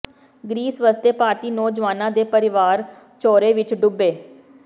grease ਵਸਦੇ ਭਾਰਤੀ ਨੌਜਵਾਨਾਂ ਦੇ ਪਰਿਵਾਰ ਝੋਰੇ ਵਿੱਚ ਡੁੱਬੇ